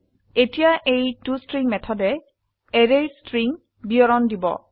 এতিয়া এই টষ্ট্ৰিং মেথডে অ্যাৰেৰ স্ট্ৰিং বিবৰন দিব